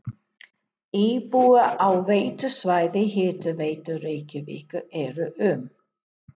Íbúar á veitusvæði Hitaveitu Reykjavíkur eru um